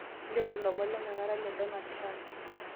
nchooru lomon letenakata le Donald Trump